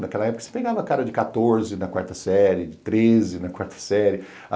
Naquela época você pegava cara de quatorze na quarta série, de treze na quarta série.